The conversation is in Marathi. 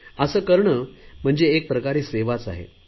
असे करणे म्हणजे एक प्रकारे सेवाच आहे